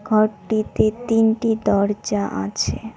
ঘরটিতে তিনটি দরজা আছে।